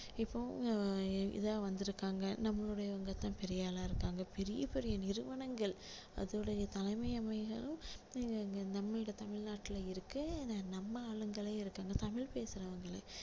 இப்போ அஹ் இதா வந்திருக்காங்க நம்மளுடையவங்க தான் பெரிய ஆளா இருக்காங்க பெரிய பெரிய நிறுவனங்கள் அதோடைய தலைமையகமாகவும் இங்க நம்முடைய தமிழ்நாட்டுல இருக்கு நம்ம ஆளுங்களே இருக்காங்க தமிழ் பேசுறவங்களே